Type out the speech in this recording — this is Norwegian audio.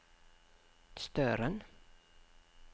Støren